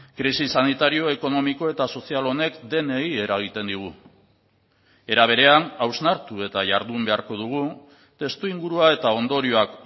krisi sanitario ekonomiko eta sozial honek denei eragiten digu era berean hausnartu eta jardun beharko dugu testuingurua eta ondorioak